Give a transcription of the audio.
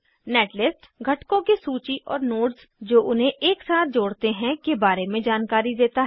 netlist घटकों की सूची और नोड्स जो उन्हें एक साथ जोड़ते हैं के बारे में जानकारी देता है